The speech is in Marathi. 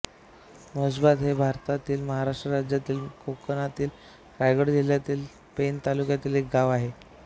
म्हैसबाद हे भारतातील महाराष्ट्र राज्यातील मध्य कोकणातील रायगड जिल्ह्यातील पेण तालुक्यातील एक गाव आहे